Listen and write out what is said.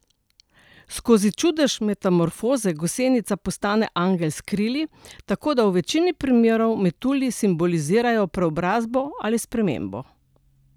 Skozi čudež metamorfoze gosenica postane angel s krili, tako da v večini primerov metulji simbolizirajo preobrazbo ali spremembo.